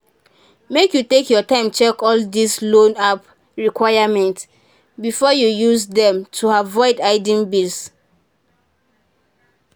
make you take your time check all dis loan app requirement before you use dem to avoid hiding bills